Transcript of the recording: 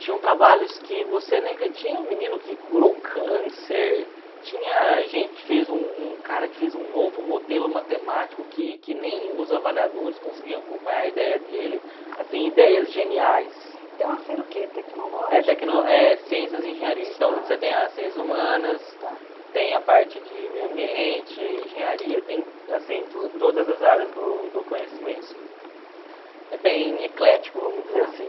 tinham trabalhos que você tinha um menino que curou câncer tinha gente que fez um um cara que fez um novo modelo matemático que que nem os avaliadores conseguiam acompanhar a idéia dele assim idéias geniais uma feira o que tecnológica é ciências e engenharia então você tem as ciências humanas tem a parte de meio ambiente engenharia tem assim tudo todas as áreas do do conhecimento é bem eclético vamos dizer assim